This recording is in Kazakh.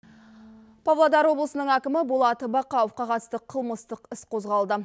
павлодар облысының әкімі болат бақауовқа қатысты қылмыстық іс қозғалды